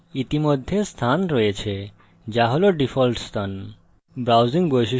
সেখানে ইতিমধ্যে স্থান রয়েছে যা হল ডিফল্ট স্থান